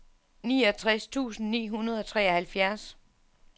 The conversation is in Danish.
niogtres tusind ni hundrede og treoghalvfjerds